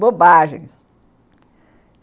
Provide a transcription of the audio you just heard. Bobagens.